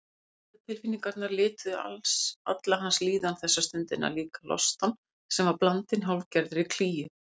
Neikvæðu tilfinningarnar lituðu alla hans líðan þessa stundina, líka lostann sem var blandinn hálfgerðri klígju.